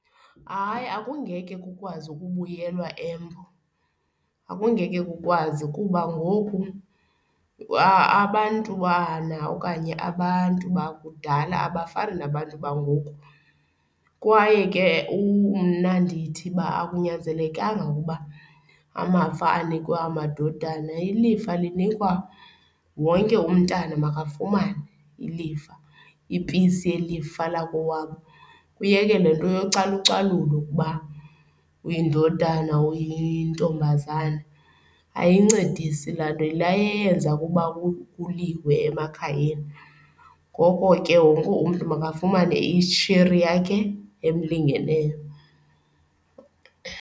Hayi, akungeke kukwazi ukubuyelwa eMbo, akungeke kukwazi. Kuba ngoku abantwana okanye abantu bakudala abafana nabantu bangoku kwaye ke mna ndithi uba akunyanzelekanga ukuba amafa anikwe amadodana. Ilifa linikwa, wonke umntana makafumane ilifa, ipisi yelifa lakowabo, kuyekwe le nto yocalucalulo ukuba uyindodana, uyintombazana. Ayincedisani laa nto, yile eyenza ukuba kuliwe emakhayeni. Ngoko ke wonke umntu makafumane isheri yakhe emlingeneyo.